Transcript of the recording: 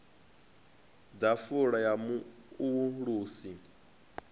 ḓafula ya mu o ulusi